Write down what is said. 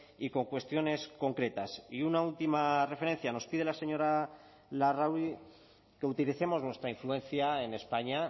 y con cuestiones concretas y una última referencia nos pide la señora larrauri que utilicemos nuestra influencia en españa